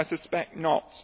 I suspect not.